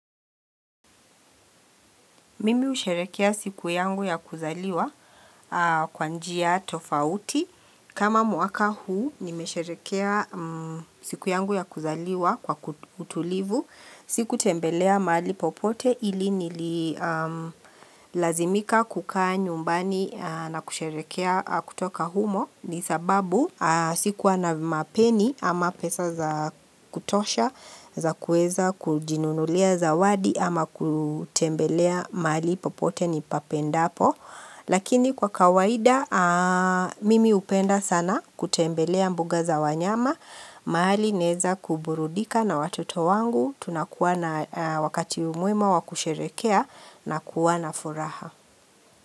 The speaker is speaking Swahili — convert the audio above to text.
Mimi husherekea siku yangu ya kuzaliwa kwa njia tofauti. Kama mwaka huu, nimesherehekea siku yangu ya kuzaliwa kwa utulivu. Siku tembelea mahali popote ili nililazimika kukaa nyumbani na kusherehekea kutoka humo. Ni sababu sikuwa na mapeni ama pesa za kutosha, za kuweza kujinunulia zawadi ama kutembelea mahali popote nipapendapo. Lakini kwa kawaida, mimi hupenda sana kutembelea mbuga za wanyama, mahali naweza kuburudika na watoto wangu, tunakuwa na wakati umwema wakusherehekea na kuwa na furaha.